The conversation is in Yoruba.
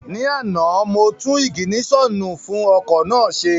Ní àná, mo tún ìgìnísọ̀nù fún ọkọ̀ náà ṣe